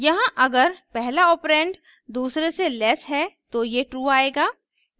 यहाँ अगर पहला ऑपरेंड दूसरे से लेस है तो ये true आएगा